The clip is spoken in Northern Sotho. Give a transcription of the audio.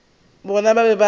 bona ba be ba re